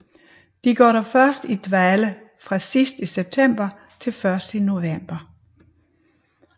De går dog først i dvale fra sidst i september til først i november